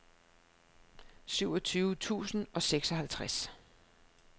syvogtyve tusind og seksoghalvtreds